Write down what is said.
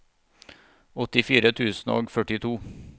åttifire tusen og førtito